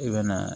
I bɛ na